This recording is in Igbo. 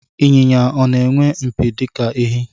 Ịnyịnya ọ na-enwe mpi dịka ehi?